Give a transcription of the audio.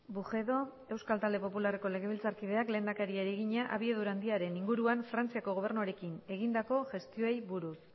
bujedo euskal talde popularreko legebiltzarkideak lehendakariari egina abiadura handiaren inguruan frantziako gobernuarekin egindako gestioei buruz